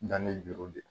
Danni juru de